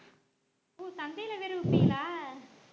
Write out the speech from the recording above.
ஓ சந்தைல வேற விப்பிங்களா